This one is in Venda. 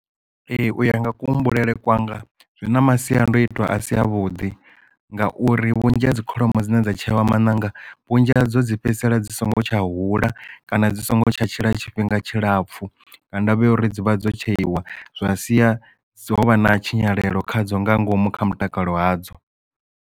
Ee uya nga kuhumbulele kwanga zwi na masiandoitwa a si a vhuḓi ngauri vhunzhi ha dzi kholomo dzine dza tsheiwa maṋanga vhunzhi hadzo dzi fhedzisela dzi songo tsha hula kana dzi songo tsha tshila tshifhinga tshilapfu nga ndavha ya uri dzivha dzo tsheiwa zwa sia dzo vha na tshinyalelo khadzo nga ngomu kha mutakalo hadzo.